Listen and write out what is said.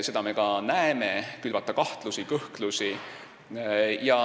Seda me ka näeme – külvatakse kahtlusi ja kõhklusi.